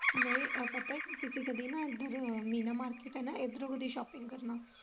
ਨਹੀਂ ਆ ਪਤਾ ਕੀ ਤੁਸੀਂ ਕਦੀ ਨਾ ਇੱਧਰ ਮੀਨਾ market ਐ ਨਾ ਇੱਧਰੋ ਕਦੀ shopping ਕਰਨਾ।